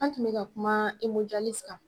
An tun bɛ ka kumaa kan